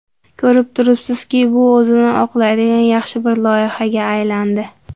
Ko‘rib turibsizki, bu o‘zini oqlaydigan yaxshi bir loyihaga aylandi.